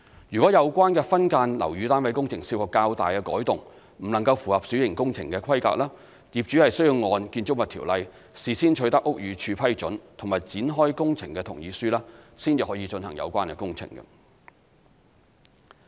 若有關分間樓宇單位工程涉及較大改動，不能符合小型工程的規格，業主需按《條例》事先取得屋宇署批准及展開工程同意書，方可進行有關工程。